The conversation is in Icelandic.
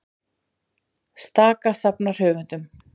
Staka safnar höfundum